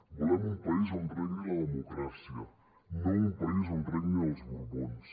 volem un país on regni la democràcia no un país on regnin els borbons